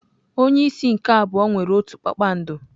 Onye isi nke abụọ nwere otu kpakpando.